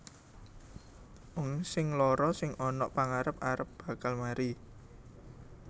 Wong sing lara sing ana pangarep arep bakal mari